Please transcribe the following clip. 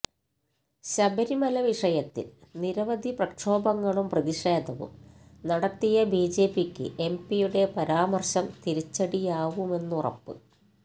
ശബരിമല വിഷയത്തില് നിരവധി പ്രക്ഷോഭങ്ങളും പ്രതിഷേധവും നടത്തിയ ബിജെപിക്ക് എംപിയുടെ പരാമര്ശം തിരിച്ചടിയാവുമെന്നുറപ്പ്